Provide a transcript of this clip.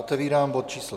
Otevírám bod číslo